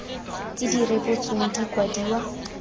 tse di rebotsweng di kwadiwa